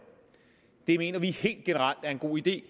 det mener vi helt generelt er en god idé